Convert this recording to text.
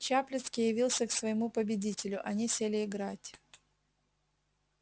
чаплицкий явился к своему победителю они сели играть